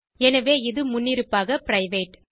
எனவே இது முன்னிருப்பாக பிரைவேட்